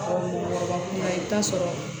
kuma i bɛ taa sɔrɔ